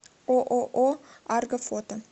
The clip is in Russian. ооо арго фото